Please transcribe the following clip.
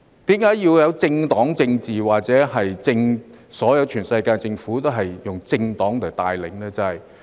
為何要有政黨政治或全世界政府都是由政黨帶領呢？